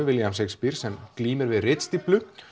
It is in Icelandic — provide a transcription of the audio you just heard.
William Shakespeare sem glímir við ritstíflu